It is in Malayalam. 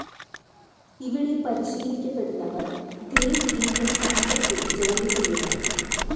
ഇവിടെ പരിശീലിക്കപ്പെടുന്നവർ ഗ്രേറ്റ്‌ ഇന്ത്യൻ സർക്കസ്സിൽ ജോലിചെയ്യുമായിരുന്നു.